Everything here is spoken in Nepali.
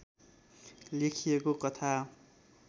लेखिएको कथा